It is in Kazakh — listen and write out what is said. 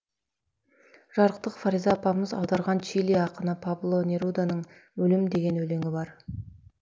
жарықтық фариза апамыз аударған чили ақыны пабло неруданың өлім деген өлеңі бар